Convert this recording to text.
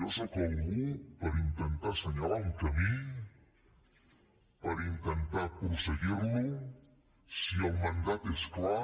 jo sóc algú per intentar assenyalar un camí per intentar prosseguir lo si el mandat és clar